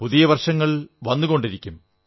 പുതിയ വർഷങ്ങൾ വന്നുകൊണ്ടിരിക്കും